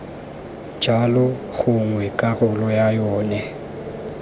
jalo gongwe karolo ya yona